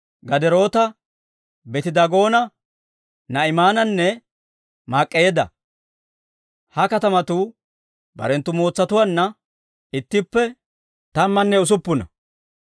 Gaderoota, Beeti-Daagoona, Naa'imaananne Mak'k'eedda. Ha katamatuu barenttu mootsatuwaanna ittippe tammanne usuppuna.